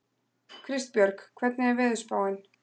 Kristbjörg, hvernig er veðurspáin?